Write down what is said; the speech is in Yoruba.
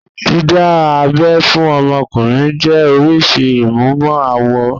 Dídá abẹ́ fún ọmọkùnrin jẹ́ oríṣìí ìmúmọ-awọ.